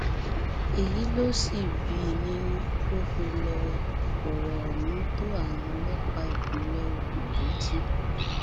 èyí ló sì bí i nínú tó fi lọọ fọrọ ohun tó àwọn ọlọpàá ìpínlẹ ogun létí